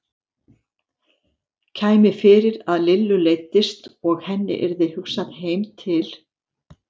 Kæmi fyrir að Lillu leiddist og henni yrði hugsað heim til